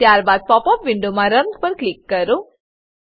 ત્યારબાદ pop up વિન્ડોમાં run run પર ક્લિક કરો